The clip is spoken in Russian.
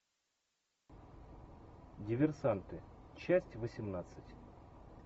диверсанты часть восемнадцать